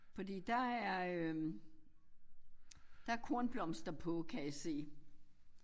Fordi der er øh der kornblomster på kan jeg se